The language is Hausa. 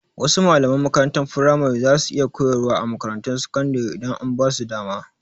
Wasu malaman makarantar firamare za su iya koyarwa a makarantun sakandire idan an basu dama